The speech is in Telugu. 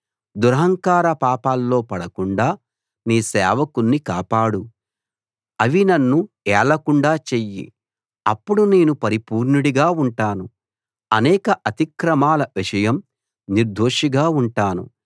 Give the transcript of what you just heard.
దురహంకార పాపాల్లో పడకుండా నీ సేవకుణ్ణి కాపాడు అవి నన్ను ఏలకుండా చెయ్యి అప్పుడు నేను పరిపూర్ణుడిగా ఉంటాను అనేక అతిక్రమాల విషయం నిర్దోషిగా ఉంటాను